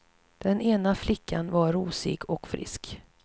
Den ena flickan var rosig och frisk.